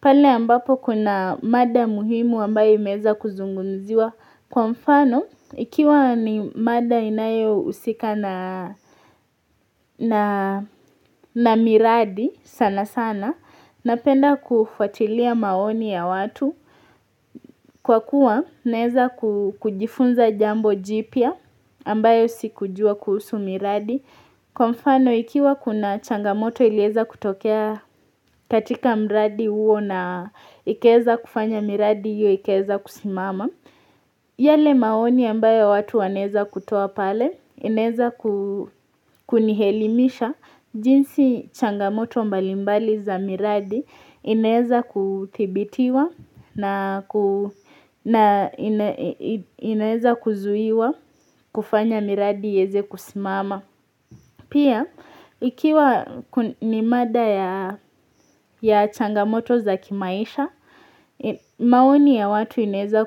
pale ambapo kuna mada muhimu ambayo imeweza kuzungumziwa kwa mfano ikiwa ni mada inayo husika na miradi sana sana napenda kufuatilia maoni ya watu Kwa kuwa naeza kujifunza jambo jipya ambayo sikujua kuhusu miradi Kwa mfano ikiwa kuna changamoto iliweza kutokea katika mradi huo na ikaweza kufanya miradi hiyo ikaweza kusimama yale maoni ambayo watu wanaweza kutoa pale inaweza kunielimisha jinsi changamoto mbalimbali za miradi inaweza kuthibitiwa na inaweza kuzuiwa kufanya miradi iweze kusimama. Pia, ikiwa ni mada yaa ya changamoto za kimaisha, maoni ya watu inaweza